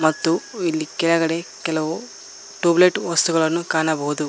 ಮತ್ತು ಇಲ್ಲಿ ಕೆಳಗಡೆ ಕೆಲವು ಟ್ಯೂಬ್ ಲೈಟ್ ವಸ್ತುಗಳನ್ನು ಕಾಣಬಹುದು.